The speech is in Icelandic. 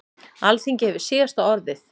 Alþingi hefur síðasta orðið